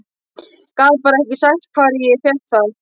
Gat bara ekki sagt hvar ég fékk það.